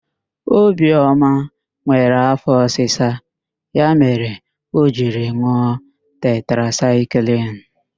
Obioma nwere afọ ọsisa, ya mere o jiri n̄ụọ tetrasaịklịn.